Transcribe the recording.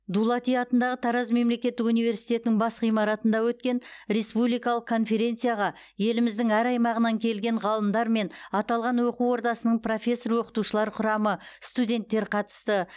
дулати атындағы тараз мемлекеттік университетінің бас ғимаратында өткен республикалық конференцияға еліміздің әр аймағынан келген ғалымдар мен аталған оқу ордасының профессор оқытушылар құрамы студенттер қатысты